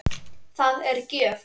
Það er gjöf.